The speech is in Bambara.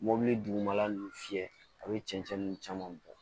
Mobili dugumala ninnu fiyɛ a bɛ cɛncɛn nu caman bɔ